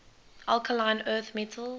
alkaline earth metals